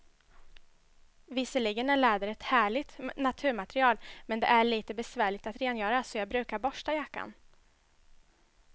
Visserligen är läder ett härligt naturmaterial, men det är lite besvärligt att rengöra, så jag brukar borsta jackan.